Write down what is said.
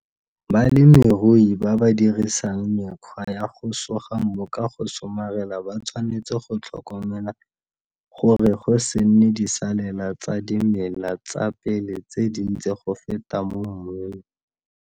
Balemirui ba ba dirisang mekgwa ya go suga mmu ka go tshomarela ba tshwanetse go tlhokomela gore go se nne disalela tsa dimela tsa pele tse dintsi go feta mo mmung.